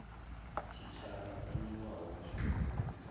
tshitshavha o newaho mushumo wo